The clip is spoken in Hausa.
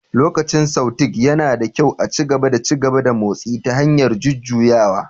Lokacin Sautéing, yana da kyau a ci gaba da ci gaba da motsi ta hanyar jujjuyawa